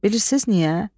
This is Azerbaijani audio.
Bilirsiz niyə?